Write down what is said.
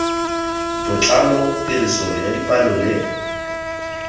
botlalo tiriso ya dipalo le